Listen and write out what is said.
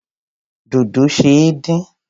Dodo ṣe é dín.